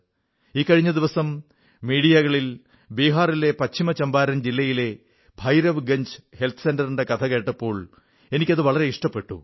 ഇക്കഴിഞ്ഞ ദിവസം മാധ്യമങ്ങളിൽ ബിഹാറിലെ പശ്ചിമ ചമ്പാരൻ ജില്ലയിലെ ഭൈരവ്ഗഞ്ജ് ഹെൽത്ത് സെന്ററിന്റെ കഥ കേട്ടപ്പോൾ എനിക്ക് വളരെ ഇഷ്ടപ്പെട്ടു